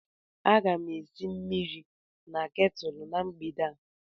Aga m esi mmiri na ketulu na mgbede a.